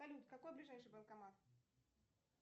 салют какой ближайший банкомат